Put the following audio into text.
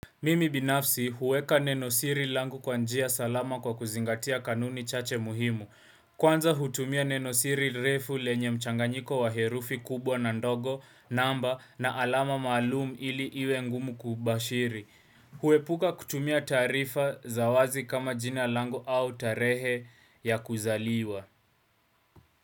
Mimi binafsi huweka nenosiri langu kwa njia salama kwa kuzingatia kanuni chache muhimu, kwanza hutumia nenosiri refu lenye mchanganyiko wa herufi kubwa na ndogo namba na alama maalumu ili iwe ngumu kubashiri. Huepuka kutumia taarifa za wazi kama jina langu au tarehe ya kuzaliwa.